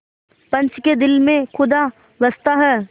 पंच के दिल में खुदा बसता है